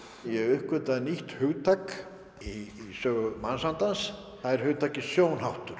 ég uppgötvaði nýtt hugtak í sögu mannsandans það er hugtakið